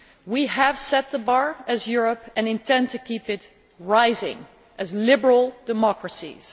We have set the bar, as Europe, and intend to keep it rising, as liberal democracies.